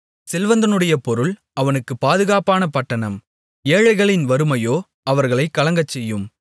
செல்வந்தனுடைய பொருள் அவனுக்குப் பாதுகாப்பான பட்டணம் ஏழைகளின் வறுமையோ அவர்களைக் கலங்கச்செய்யும்